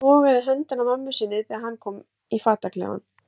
Hann togaði í höndina á mömmu sinni þegar hann kom í fataklefann.